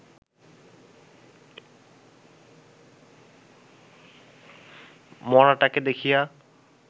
মড়াটাকে দেখিয়া